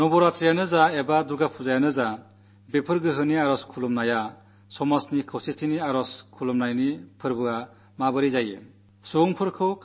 നവരാത്രിയാണെങ്കിലും ദുർഗ്ഗാപൂജയാണെങ്കിലും ഈ ശക്ത്യുപാസന സമൂഹത്തിന്റെ ഐക്യത്തിന്റെ ആഘോഷാകാൻ എങ്ങനെ സാധിക്കും